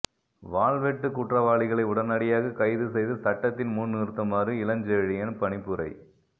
வாள்வெட்டுக் குற்றவாளிகளை உடனடியாக கைது செய்து சட்டத்தின் முன் நிறுத்துமாறு இளஞ்செழியன் பணிப்புரை